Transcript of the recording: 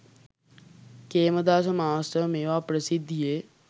Khemadasa master මේවා ප්‍රසිද්ධියේ